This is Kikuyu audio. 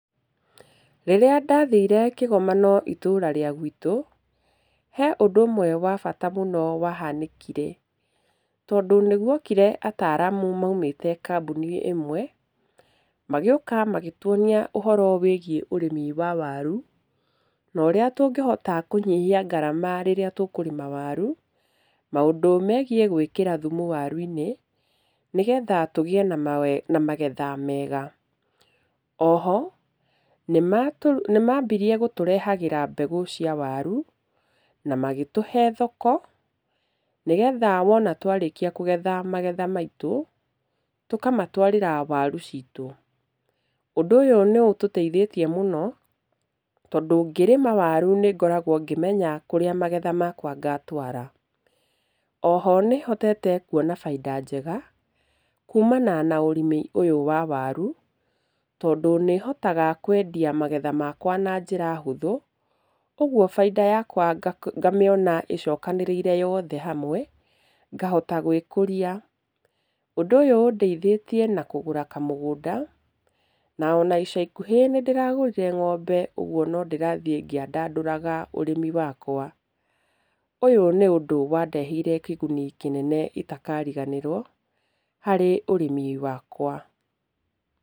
Rĩrĩa ndathĩre kĩgomano itũura rĩa gwĩtũ, he ũndũ ũmwe wa bata mũno wa hanĩkĩre tondũ nĩ gwokĩre ataaramu maumĩte kambuni ĩmwe. Magĩũka magĩtũonia ũhoro wĩgĩe ũrĩmi wa waru, na ũrĩa tũngĩhota kũnyihia ngarama rĩrĩa tũkũrĩma waru, maũndũ megiĩ gwĩkĩra thumu warũ-inĩ nĩgetha tũgĩe na magethe mega. Oho, nĩ mambĩrĩe gũtũrehagĩra mbegũ cia waru, na magĩtũhe thoko nĩgetha wona twarĩkĩa kũgetha magetha maitũ, tũkamatwarĩra waru ciitũ. Ũndũ ũyũ nĩ ũtũteithĩtie mũno tondũ ngĩrĩma waru nĩ ngoragwo ngĩmenya kũrĩa magetha makwa ngatwara. Oho nĩ hotete kũona baida njega kuumana na ũrĩmi ũyũ wa waru, tondũ nĩ hotaga kwendia magetha makwa na njĩra hũthũ, ũgũo baida yakwa ngamĩona ĩcokanĩrĩire yothe hamwe ngahota gwĩkũria. Ũndũ ũyũ ũndeithĩtie na kũgũra kamũgũnda, na ona ica ikũhĩ nĩ ndĩragũrĩre ngombe, ũgũo no ndĩrathĩ ngĩandandũrũga ũrĩmi wakwa. Ũyũ nĩ ũndũ wandeheire kĩguni kĩnene itakarĩganĩrwo harĩ ũrĩmi wakwa.